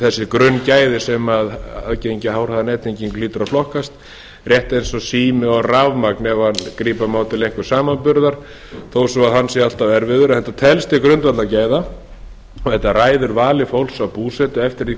þessi grunngæði sem aðgengi að háhraðanettengingu hlýtur að flokkast rétt eins og sími og rafmagn ef grípa má til einhvers samanburðar þó svo hann sé alltaf erfiður en þetta telst til grundvallargæða og þetta ræður vali fólks á búsetu eftir því